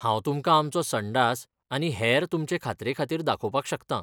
हांव तुमकां आमचो संडास आनी हेर तुमचे खात्रेखातीर दाखोवपाक शकतां.